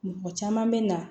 Mɔgɔ caman bɛ na